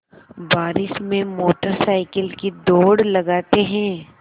बारिश में motorcycle की दौड़ लगाते हैं